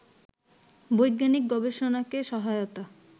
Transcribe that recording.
বৈজ্ঞানিক গবেষণাকে সহায়তা